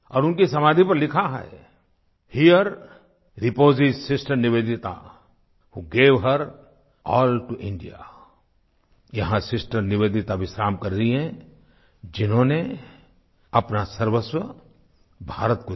और उनकी समाधि पर लिखा है here reposes sister Nivedita who gave her all to India यहाँ सिस्टर निवेदिता विश्राम कर रहीं हैं जिन्होंने अपना सर्वस्व भारत को दिया